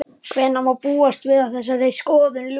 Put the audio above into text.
Hvenær má búast við að þessari skoðun ljúki?